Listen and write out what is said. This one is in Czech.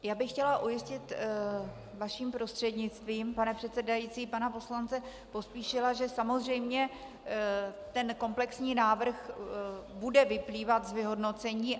Já bych chtěla ujistit vaším prostřednictvím, pane předsedající, pana poslance Pospíšila, že samozřejmě ten komplexní návrh bude vyplývat z vyhodnocení.